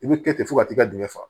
I bɛ kɛ ten fo ka t'i ka dingɛ fa